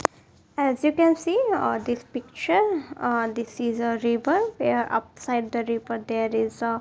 as you can see uh this picture uh this is a river upside the river there is a --